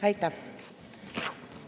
Aitäh!